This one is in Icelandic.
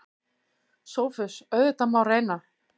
SOPHUS: Auðvitað má reyna.